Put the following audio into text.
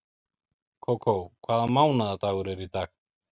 Kókó, hvaða mánaðardagur er í dag?